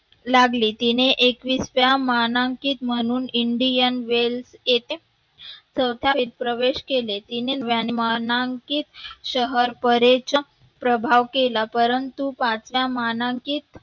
लागली. तिने एकविसव्या मानांकित म्हणून, Indian Wales येथे चोथावी प्रवेश केले. तिने वाना, मानांकिंत शहर परेश्रम प्रभाव केला परंतु पाटला मानांकित